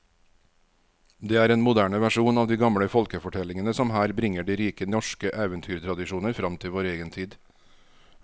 Det er en moderne versjon av de gamle folkefortellingene som her bringer de rike norske eventyrtradisjoner fram til vår egen tid.